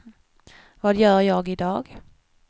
vad gör jag idag